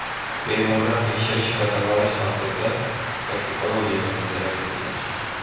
Bemorlar tekshirish va davolash maqsadida Toksikologiya bo‘limiga yotqizilgan.